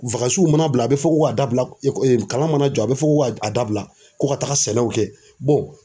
mana bila a bɛ fɔ ko a dabila kalan mana jɔ a bɛ fɔ ko k'a dabila ko ka taga sɛnɛw kɛ